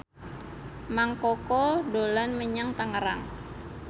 Mang Koko dolan menyang Tangerang